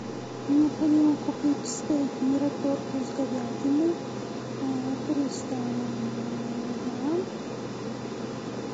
необходимо купить стейк мираторг из говядины а триста грамм